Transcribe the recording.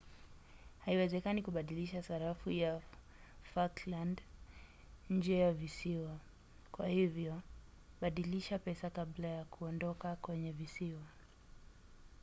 haiwezekani kubadilishana sarafu ya falkland nje ya visiwa kwa hivyo badilisha pesa kabla ya kuondoka kwenye visiwa